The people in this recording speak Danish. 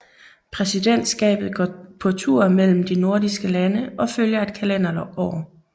Præsidentskabet går på tur mellem de nordiske lande og følger et kalenderår